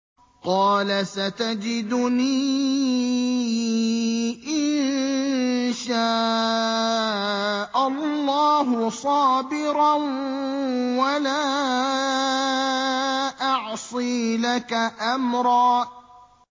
قَالَ سَتَجِدُنِي إِن شَاءَ اللَّهُ صَابِرًا وَلَا أَعْصِي لَكَ أَمْرًا